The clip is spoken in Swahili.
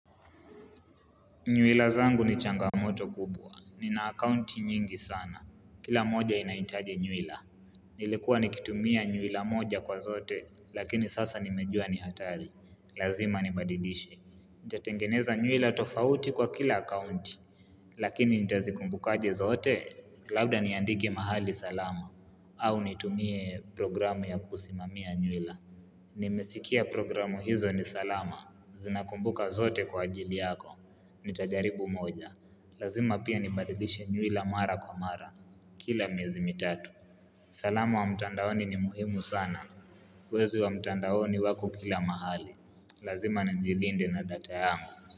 Nywila zangu ni changamoto kubwa. Ni na akaunti nyingi sana. Kila moja inahitaji nywila. Nilikua nikitumia nywila moja kwa zote, lakini sasa nimejua ni hatari. Lazima nibadilishe. Nitatengeneza nywila tofauti kwa kila akounti. Lakini nitazikumbukaje zote, labda niandike mahali salama. Au nitumie programu ya kusimamia nywila. Nimesikia programu hizo ni salama. Zinakumbuka zote kwa ajili yako. Nitajaribu moja Lazima pia nibadilishe nywila mara kwa mara Kila miezi mitatu uSalama wa mtandaoni ni muhimu sana Wezi wa mtandaoni wako kila mahali Lazima nnjilinde na data yangu.